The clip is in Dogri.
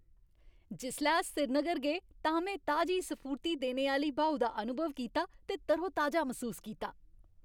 जिसलै अस श्रीनगर गे तां में ताजी स्फूर्ति देने आह्‌ली ब्हाऊ दा अनुभव कीता ते तरोताजा मसूस कीता।